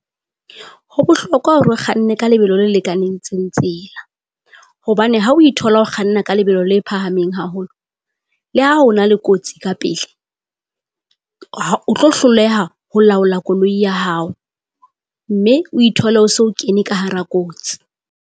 Ho bohlokwa hore o kganne ka lebelo le lekanengtseng tsela, hobane ha o ithola ho kganna ka lebelo le phahameng haholo. Le ha ho na le kotsi ka pele, ha o tlo hloleha ho laola koloi ya hao mme o ithole o so kene ka hara kotsi.